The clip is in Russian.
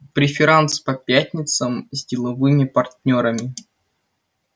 преферанс по пятницам с деловыми партнёрами